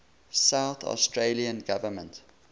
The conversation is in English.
south australian government